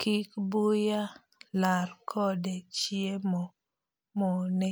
kik buya lar kode chiemo mone.